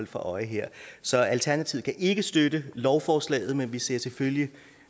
for øje her så alternativet kan ikke støtte lovforslaget men vi ser selvfølgelig